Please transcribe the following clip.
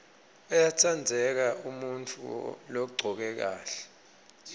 uyatsandzeka umuntfu logcoke kahle